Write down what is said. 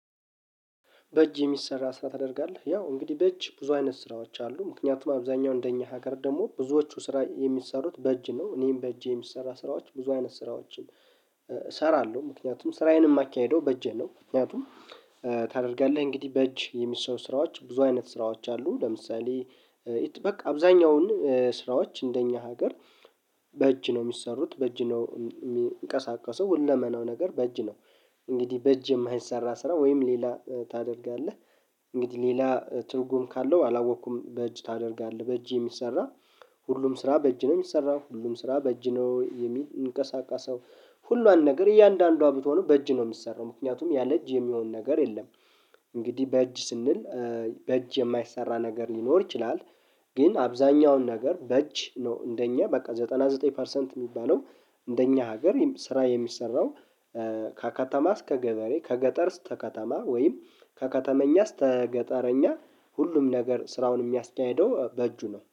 በእጅ የሚሰራ ስራ ታደርጋለህ ያው እንግዲህ በእጅ ብዙ አይነት ስራዎች አሉ ምክንያቱም አብዛኛው እንደኛ ሀገር ደግሞ ብዙዎቹ ስራ የሚሰሩት በእጅ ነው እኔም በእጄ የሚሰራ ስራዎች ብዙ አይነት ስራዎችን እሰራለሁ ምክንያቱም ስራዬን የማካሂደው በእጄ ነው። ምክንያቱም ታደርጋለህ እንግዲህ በእጅ የሚሰው ስራዎች ብዙ አይነት ስራዎች አሉ። ለምሳሌ በቃ አብዛኛውን ስራዎች እንደኛ ሀገር በእጅ ነው የሚሰሩት በእጅ ነው የሚንቀሳቀሰው ሁለመናው ነገር በእጅ ነው። እንግዲህ በእጅ የማይሰራ ስራ ወይም ሌላ ታደርጋለህ። እንግዲህ ሌላ ትርጉም ካለው አላወቅኩም በእጅ ታደርጋለህ በእጅ የሚሰራ። ሁሉም ስራ በእጅ ነው የሚሰራው ሁሉም ስራ በእጅ ነው የሚል እንቅስቃሴ ሰው። ሁሉን ነገር እያንዳንዷ ብትሆኑ በእጅ ነው የምትሰራው ምክንያቱም ያለ እጅ የሚሆን ነገር የለም። እንግዲህ በእጅ ስንል በእጅ የማይሰራ ነገር ሊኖር ይችላል። ግን አብዛኛውን ነገር በእጅ ነው እንደኛ በቃ ዘጠና ዘጠኝ ፐርሰንት የሚባለው እንደኛ ሀገር ስራ የሚሰራው። ከከተማ እስከ ገበሬ ከገጠር እስከ ከተማ ወይም ከከተመኛ ስተገጠረኛ ሁሉም ነገር ስራውን የሚያስካሂደው በእጁ ነው